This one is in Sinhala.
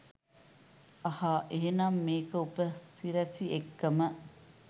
අහා එහෙනම් මේක උපසිරැසි එක්කම